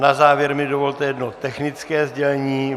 Na závěr mi dovolte jedno technické sdělení.